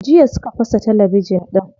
Jiya suka fasa talabijin din.